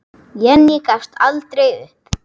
Jenný gafst aldrei upp.